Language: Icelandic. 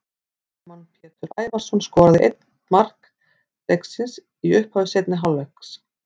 Ármann Pétur Ævarsson skoraði ein mark leiksins í upphafi seinni hálfleiks.